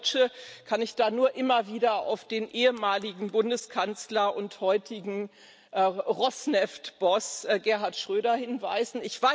Als Deutsche kann ich da nur immer wieder auf den ehemaligen Bundeskanzler und heutigen Rosneft Boss Gerhard Schröder hinweisen.